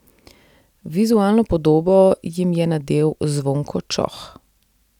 Vizualno podobo jim je nadel Zvonko Čoh.